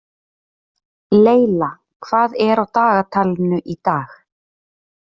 Leyla, hvað er á dagatalinu í dag?